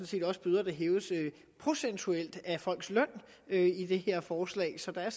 set også bøder der hæves procentuelt af folks løn i det her forslag så der er